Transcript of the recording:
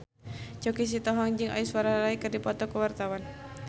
Choky Sitohang jeung Aishwarya Rai keur dipoto ku wartawan